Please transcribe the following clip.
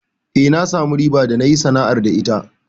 Eh, na samu riba da nayi sana'ar da ita.